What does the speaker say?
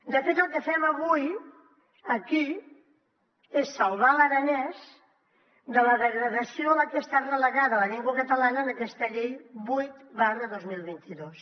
de fet el que fem avui aquí és salvar l’aranès de la degradació a la que està relegada la llengua catalana en aquesta llei vuit dos mil vint dos